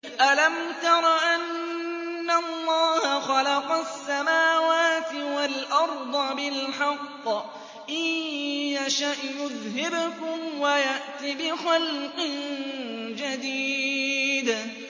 أَلَمْ تَرَ أَنَّ اللَّهَ خَلَقَ السَّمَاوَاتِ وَالْأَرْضَ بِالْحَقِّ ۚ إِن يَشَأْ يُذْهِبْكُمْ وَيَأْتِ بِخَلْقٍ جَدِيدٍ